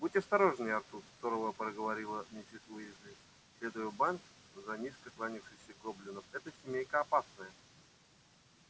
будь осторожнее артур сурово проговорила миссис уизли следуя в банк за низко кланявшимся гоблином эта семья опасная